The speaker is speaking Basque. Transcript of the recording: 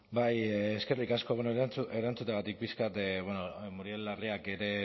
bai eskerrik asko bueno erantzuteagatik pixka bat bueno muriel larreak ere